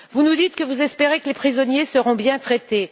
Vous nous dites que vous espérez que les prisonniers seront bien traités.